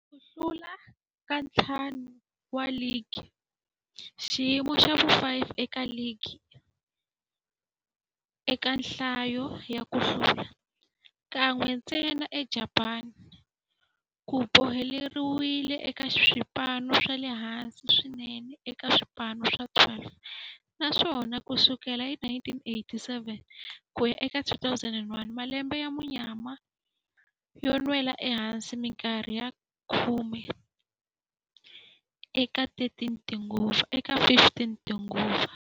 Ku hlula ka ntlhanu wa ligi, xiyimo xa vu-5 eka ligi eka nhlayo ya ku hlula kan'we ntsena eJapani, ku boheleriwile eka swipano swa le hansi swinene eka swipano swa 12 naswona ku sukela hi 1987 ku ya eka 2001, malembe ya munyama yo nwela ehansi minkarhi ya khume eka 15 tinguva.